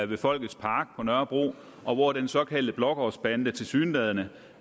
ved folkets park på nørrebro og hvor den såkaldte blågårdsbande tilsyneladende